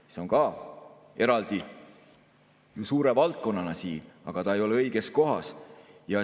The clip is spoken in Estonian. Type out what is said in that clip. See on ka eraldi suure valdkonnana siin, aga see ei ole õiges kohas.